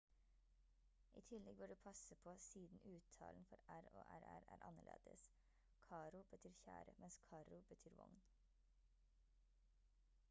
i tillegg bør du passe på siden uttalen for r og rr er annerledes caro betyr kjære mens carro betyr vogn